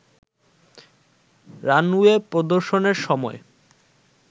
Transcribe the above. runway প্রদর্শনের সময়